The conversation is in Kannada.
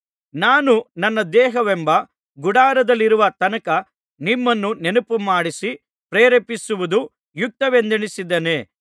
ನಾನು ನನ್ನ ದೇಹವೆಂಬ ಗುಡಾರದಲ್ಲಿರುವ ತನಕ ನಿಮ್ಮನ್ನು ನೆನಪುಮಾಡಿಸಿ ಪ್ರೇರೇಪಿಸುವುದು ಯುಕ್ತವೆಂದೆಣಿಸಿದ್ದೇನೆ